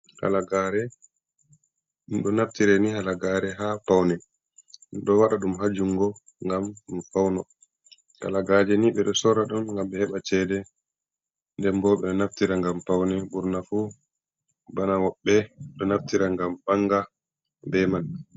Kalagare. Ɗo naftire ni halagare ha paune, ɗo wada dum hajungo gam ɗum pauno. kalagaje ni be do sora ɗum gam be heba cede den bobe do naftira ngam paune. burna fu bana wobbe do naftira ngam banga be man.